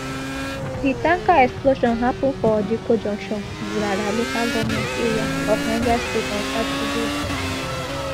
di tanker explosion happun for dikko junction gurara local goment area of niger state on saturday